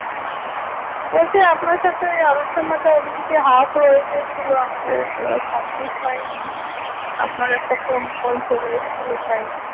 হম বলছি আপনার সাথে ওই আলোচনাটা ওদিনকে half রয়ে গেছিলো আমাদের আহ complete হয়নি আপনার একটা phone call চলে এসে ছিল তাই